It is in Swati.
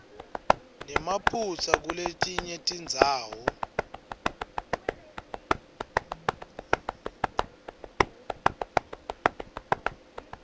nemaphutsa kuletinye tindzawo